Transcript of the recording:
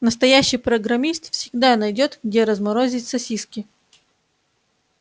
настоящий программист всегда найдёт где разморозить сосиски